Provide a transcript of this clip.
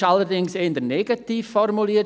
Allerdings ist diese eher negativ formuliert.